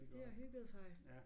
De har hygget sig